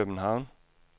København